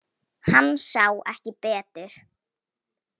Hann sá ekki betur.